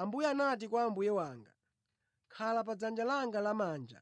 “Ambuye anati kwa Ambuye wanga: ‘Khala pa dzanja langa lamanja